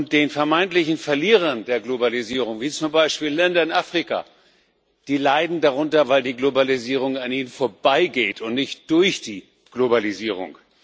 Die vermeintlichen Verlierer der Globalisierung, wie zum Beispiel Länder in Afrika, leiden darunter, weil die Globalisierung an ihnen vorbeigeht, sie leiden nicht durch die Globalisierung.